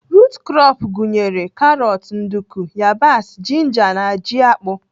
Rut krọp gụnyere karọt, nduku, yabasị, jinja na ji akpụ.